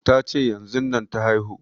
Ta ce yanzun nan ta haihu